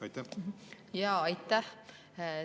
Aitäh!